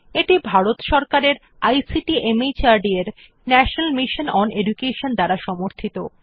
এটি ভারত সরকারের ICT MHRD এর ন্যাশনাল মিশন ওন এডুকেশন দ্বারা সমর্থিত